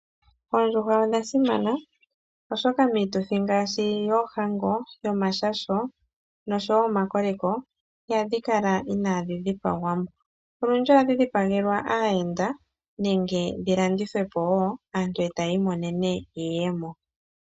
Oondjuhwa odha simana ,oshoka miituthi ngaashi yoohango noomashasho nosho wo omakoleko iha dhi kala iinadhi dhipagwa mo. Olundji oha dhi dhipagelwa aayenda nenge dhi landithwe po woo aantu e ta yi monene iiyemo.